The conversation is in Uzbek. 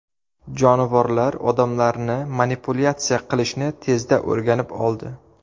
Jonivorlar odamlarni manipulyatsiya qilishni tezda o‘rganib oldi.